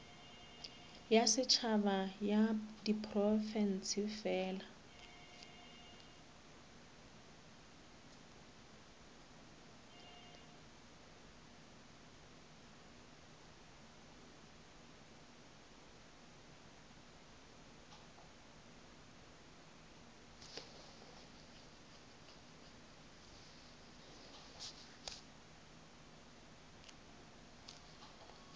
ya setšhaba ya diprofense fela